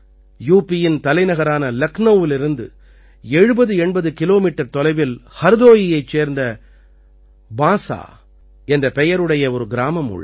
யூபியின் தலைநகரான லக்னௌவிலிருந்து 7080 கிலோமீட்டர் தொலைவில் ஹர்தோயியைச் சேர்ந்த பான்ஸா என்ற பெயருடைய ஒரு கிராமம் உள்ளது